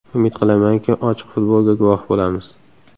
Umid qilamanki, ochiq futbolga guvoh bo‘lamiz”.